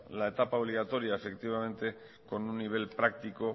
la etapa obligatoria efectivamente con un nivel práctico